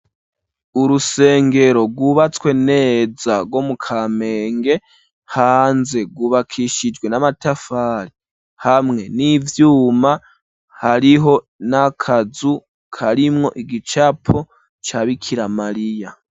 Urusengero rwubatswe neza gwo mu Kamenge, hanze gwubakishijwe n'amatafari hamwe n'ivyuma, hariho n'akazu karimwo igicapo ca Bikiramariya.